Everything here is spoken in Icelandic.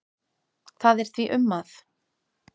Það er því um að